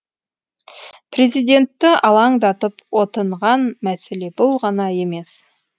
президентті алаңдатып отынған мәселе бұл ғана емес